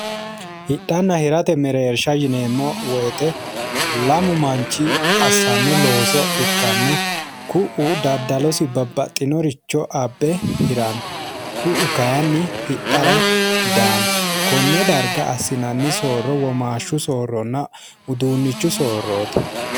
Hidhana hirate mereerishaati yineemmo woyiite lamu manchi assanno looso ikkana ku'u daddalosi babbaxinoricho abbe hirano ku'u kayiinni hidhara daanno konne danrga assinanni soorro womaashshunna soorronna uduunnu soorroti.